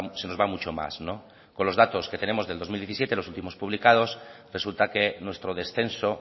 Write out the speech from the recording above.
se nos va mucho más no con los datos que tenemos del dos mil diecisiete los últimos publicados resulta que nuestro descenso